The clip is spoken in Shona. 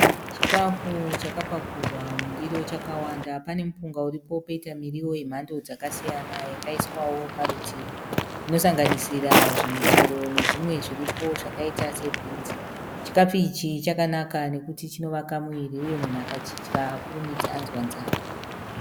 Chikafu chakapakurwa mundiro chakawanda. Pane mupunga uripo poita mirio yemhando dzakasiyana yakaiswao paurutivi inosanganisira michero nezvimwe zviripoo zvakaitao se bhinzi. Chakanaka nekuti chinovaka muviri uye munhu akachidya haakurumidzi anzwa nzara.